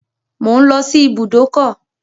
Mò ń lọ sí ibùdókọ̀.